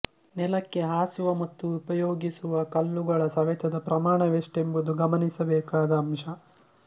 ನೆಲಕ್ಕೆ ಹಾಸುವ ಮತ್ತು ಉಪಯೋಗಿಸುವ ಕಲ್ಲುಗಳ ಸವೆತದ ಪ್ರಮಾಣವೆಷ್ಟೆಂಬುದೂ ಗಮನಿಸಬೇಕಾದ ಅಂಶ